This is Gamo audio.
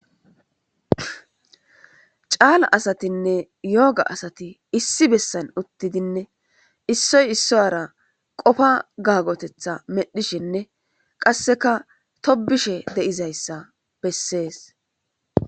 Cala asatine yoga asat issi besan utidene isoy isuwara qofa gagotetha medhishene qaseka tobishe de7izayisa beses.